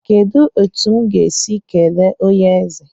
Kedụ etu m ga-esi kelee onyeeze?